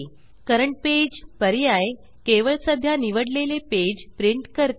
current page current पेजपर्याय केवळ सध्या निवडलेले पेज प्रिंट करते